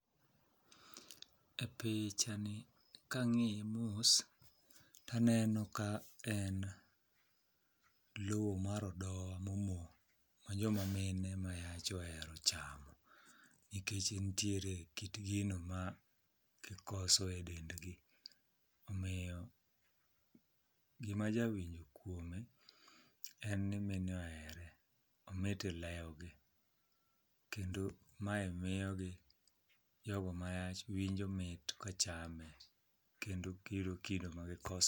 E picha ni kang'iye mos, taneno ka en lo mar odowa mo mo. Ma joma mine ma yach ohero chamo, nikech nitiere kit gino ma gikoso e dend gi. Omiyo gima ja winjo kuome, en ni mine ohere, omit e lewgi. Kendo mae miyogi jogo ma yach winjo mit ka chame, kendo biro kido ma gikos.